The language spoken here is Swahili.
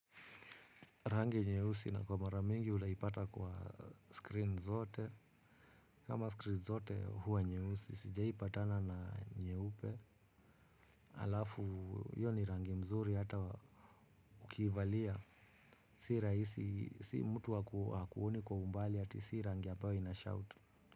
Rangi nyehusi na kwa maramingi utaipata kwa screen zote kama screen zote huwa nyehusi sijaipatana na nyehupe alafu yoni rangi mzuri hata ukivalia si raisi si mtu wakuuni kwa umbali hati si rangi ambayo inashout.